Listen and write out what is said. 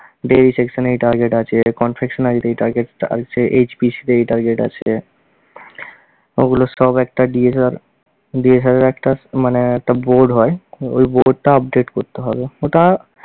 dairy section এ এই target আছে, confectionery তে এই target আছে, HPC তে এই target আছে। ওগুলো সব একটা একটা মানে একটা board হয়, ওই board টা update করতে হবে। ওটা